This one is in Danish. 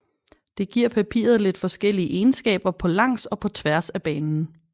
Det giver papiret lidt forskellige egenskaber på langs og på tværs af banen